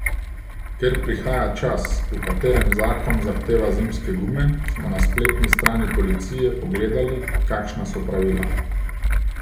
Ker prihaja čas, v katerem zakon zahteva zimske gume, smo na spletni strani policije pogledali, kakšna so pravila.